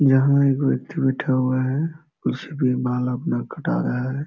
यहाँ एक व्यक्ति बैठ हुआ है कुर्सी पे बाल अपना काटा रहा है।